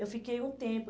Eu fiquei um tempo.